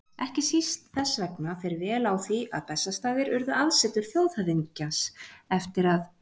Ekki síst þess vegna fer vel á því að Bessastaðir urðu aðsetur þjóðhöfðingjans, eftir að